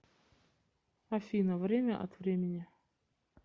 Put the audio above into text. афина время от времени